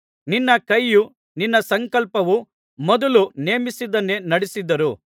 ನಿನ್ನ ಕೈಯೂ ನಿನ್ನ ಸಂಕಲ್ಪವೂ ಮೊದಲು ನೇಮಿಸಿದ್ದನ್ನೇ ನಡಿಸಿದರು